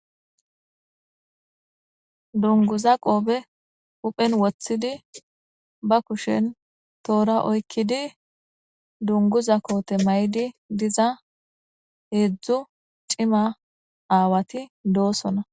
dunguza qoobe uphen woththidi ba kushen toora oykkidi dunguza koote may7di diza heedzdzu cima aawati doosona